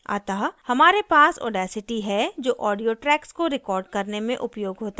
अतः हमारे पास audacity है जो audio tracks को record करने में उपयोग होता है